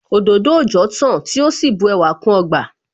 Òdòdó òòjọ́ tán tí ó sì bu ẹwà kún ọgbà